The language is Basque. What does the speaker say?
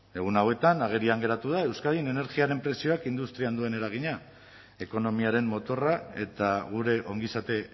egun hauetan agerian geratu da euskadin energiaren prezioak industrian duen eragina ekonomiaren motorra eta gure ongizate